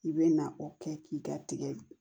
I bɛ na o kɛ k'i ka tigɛ